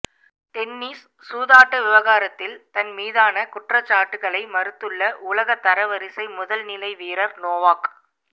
tennis சூதாட்ட விவகாரத்தில் தன் மீதான குற்றச்சாட்டுக்களை மறுத்துள்ள உலகத்தரவரிசை முதல்நிலை வீரர் நோவாக்